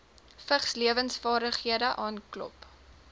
vigslewensvaardighede aanklop